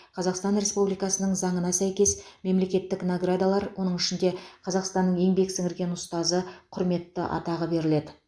қазақстан республикасының заңына сәйкес мемлекеттік наградалар оның ішінде қазақстанның еңбек сіңірген ұстазы құрметті атағы беріледі